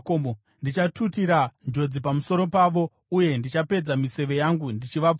“Ndichatutira njodzi pamusoro pavo uye ndichapedza miseve yangu ndichivapfura.